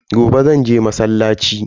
Gobe zanje masallaci.